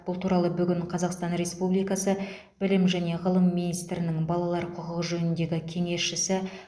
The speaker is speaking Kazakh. бұл туралы бүгін қазақстан республикасы білім және ғылым министрінің балалар құқығы жөніндегі кеңесшісі